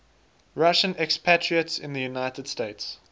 russian expatriates in the united states